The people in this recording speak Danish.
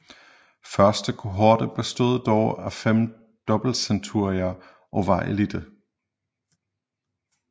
Første kohorte bestod dog af fem dobbeltcenturier og var eliten